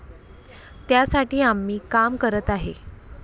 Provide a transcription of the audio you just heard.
त्यासाठी आम्ही काम करत आहे.